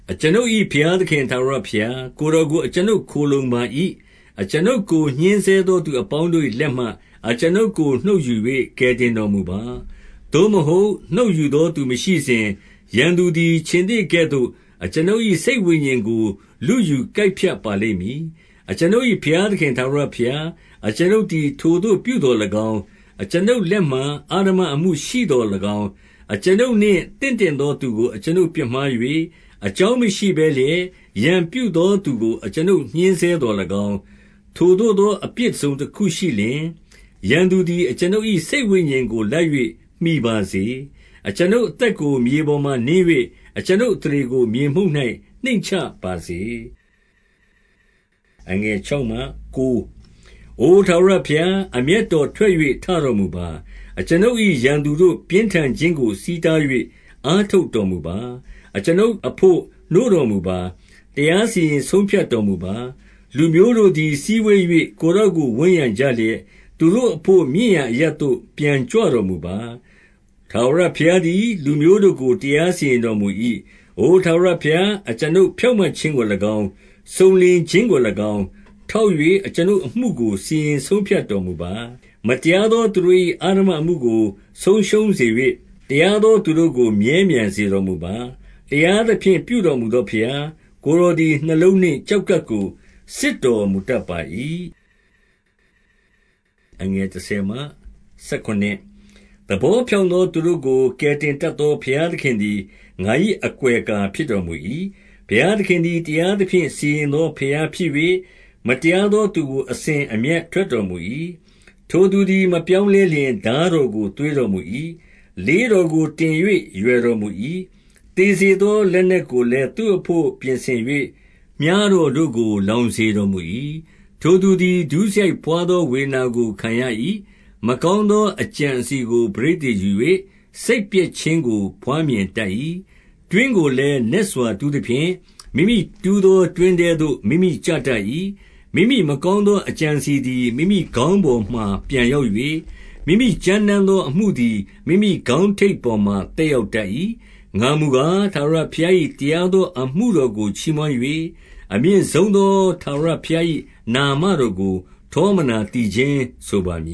အကျွန်ုပ်၏ ဘုရားသခင် ထာဝရဘုရား၊ ကိုယ် တော်ကို အကျွန်ုပ်ခိုလှုံပါ၏။ အကျွန်ုပ်ကို ညှဉ်းဆဲသော သူအပေါင်းတို့၏လက်မှ အကျွန်ုပ်ကို နှုတ်ယူ၍ ကယ်တင် တော်မူပါ။ 2 သို့မဟုတ်နှုတ်ယူသောသူမရှိစဉ်၊ ရန်သူသည် ခြင်္သေ့ကဲ့သို့ အကျွန်ုပ်၏စိတ်ဝိညာဉ်ကို လုယူကိုက်ဖြတ် ပါလိမ့်မည်။ 3 အကျွန်ုပ်၏ ဘုရားသခင် ထာဝရဘုရား၊ အကျွန်ုပ်သည် ထိုသို့ပြုသော်၎င်း၊ အကျွန်ုပ်လက်မှာ အဓမ္မအမှုရှိသော်၎င်း၊ 4 အကျွန်ုပ်နှင့် သင့်တင့်သောသူကို အကျွန်ုပ် ပြစ်မှား၍၊ အကြောင်းမရှိဘဲလျက် ရန်ပြုသောသူကို အကျွန်ုပ်ညှဉ်းဆဲသော်၎င်း၊ ထိုသို့သော အပြစ်တစုံတခု ရှိလျှင်၊ 5 ရန်သူသည် အကျွန်ုပ်၏ စိတ်ဝိညာဉ်ကိုလိုက်၍ မှီပါစေ။ အကျွန်ုပ်အသက်ကို မြေပေါ်မှာနင်း၍၊အကျွန်ုပ် အသရေကို မြေမှုန့်၌ နှိမ့်ချပါစေ။ 6 အိုထာဝရဘုရား၊ အမျက်တော် ထွက်၍ ထတော်မူပါ။ အကျွန်ုပ်၏ရန်သူတို့ ပြင်းထန်ခြင်းကို ဆီးတား၍ အားထုတ်တော်မူပါ။ အကျွန်ုပ်အဘို့ နိုးတော် မူပါ။ တရားစီရင်ဆုံးဖြတ်တော်မူပါ။ 7 လူမျိုးတို့သည်စည်းဝေး၍ ကိုယ်တော်ကို ဝန်းရံ ကြလျက်၊ သူတို့အဘို့ မြင့်ရာအရပ်သို့ ပြန်ကြွတော်မူပါ။ 8 ထာဝရဘုရားသည် လူမျိုးတို့ကို တရားစီရင် တော်မူ၏။ အိုထာဝရဘုရား၊ အကျွန်ုပ်ဖြောင့်မတ်ခြင်း ကို၎င်း၊ စုံလင်ခြင်းကို၎င်း ထောက်၍ အကျွန်ုပ်အမှုကို စီရင်ဆုံးဖြတ်တော်မူပါ။ 9 မတရားသော သူတို့၏ ဓမ္မအမှုကိုဆုံးရှုံး၍၊ တရားသောသူတို့ကိုမြဲမြံစေတော်မူပါ။ တရားသဖြင့် ပြုတော်မူသော ဘုရား၊ ကိုယ်တော်သည် နှလုံးနှင့် ကျောက်ကပ်ကို စစ်တော်မူတတ်ပါ၏။ 10 သဘောဖြောင့်သောသူတို့ကို ကယ်တင်တတ် သော ဘုရားသခင်သည် ငါ၏အကွယ်အကာဖြစ်တော် မူ၏။ 11 ဘုရားသခင်သည် တရားသဖြင့် စီရင်သော ဘုရားဖြစ်၍၊ မတရားသောသူကို အစဉ်အမျက် ထွက်တော်မူ၏။ 12 ထိုသူသည်မပြောင်းလဲလျှင် ထားတော်ကို သွေး တော်မူ၏။ လေးတော်ကိုတင်၍ ရွယ်တော်မူ၏။ 13 သေစေသော လက်နက်ကိုလည်း သူ့အဘို့ ပြင်ဆင်၍ မြှားတော်တို့ကို လောင်စေတော်မူ၏။ 14 ထိုသူသည် ဒုစရိုက်ဘွားသော ဝေဒနာကို ခံရ ၏။ မကောင်းသော အကြံအစည်ကို ပဋိသန္ဓေယူ၍၊ စိတ်ပျက်ခြင်းကို ဘွားမြင်တတ်၏။ 15 တွင်းကိုလည်း နက်စွာတူးသဖြင့်၊ မိမိတူးသော တွင်းထဲသို့ မိမိကျတတ်၏။ 16 မိမိမကောင်းသော အကြံအစည်သည် မိမိ ခေါင်းပေါ်မှာ ပြန်ရောက်၍၊ မိမိကြမ်းတမ်းသောအမှု သည် မိမိခေါင်းထိပ်ပေါ်မှာ သက်ရောက်တတ်၏။ 17 ငါမူကား၊ ထာဝရဘုရား၏ တရားသောအမှု တော်ကို ချီးမွမ်း၍၊ အမြင့်ဆုံးသောထာဝရဘုရား၏ နာမတော်ကို ထောမနာသီချင်းဆိုပါမ